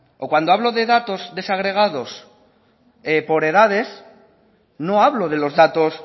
o cuando hablo de datos desagregados por edades no hablo de los datos